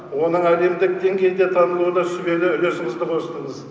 оның әлемдік деңгейде дамуына сүбелі үлесіңізді қостыңыз